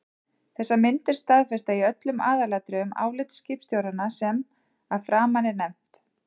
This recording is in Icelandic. Þessar myndir staðfesta í öllum aðalatriðum álit skipstjóranna sem að framan er nefnt.